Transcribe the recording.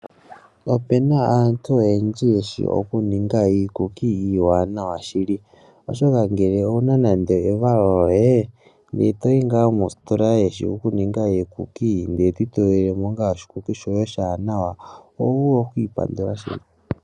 Opena aantu oyendji yeshi oku ninga iikuki iiwanawa shili, oshoka nande owuna evalo lyite etoyi mositola yontumba eto itokejemo oshikuki oho vulu okwiipandula shili.